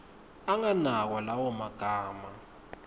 anganakwa lawo magama